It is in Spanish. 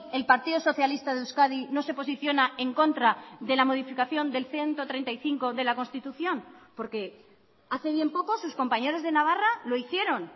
el partido socialista de euskadi no se posiciona en contra de la modificación del ciento treinta y cinco de la constitución porque hace bien poco sus compañeros de navarra lo hicieron